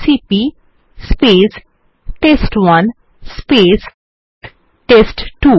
CP test one test two